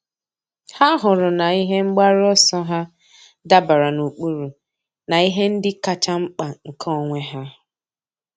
Há hụrụ na ihe mgbaru ọsọ ha dabara n’ụ́kpụ́rụ́ na ihe ndị kacha mkpa nke onwe ha.